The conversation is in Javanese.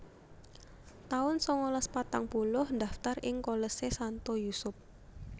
taun sangalas patang puluh ndaftar ing Kolese Santo Yusup